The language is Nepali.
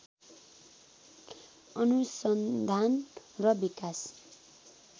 अनुसन्धान र विकास